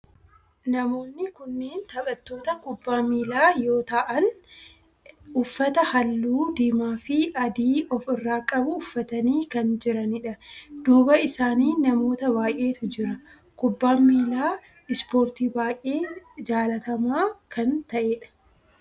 Namoonni kunneen taphattoota kubbaa miilaa yoo ta'aan uffata halluu diimaa fi adii of irraa qabu uffatanii kan jiranidha. Duuba isaanii namoota baayyeetu jira. Kubbaan miilaa ispoortii baayyee jaalatamaa kan ta'edha.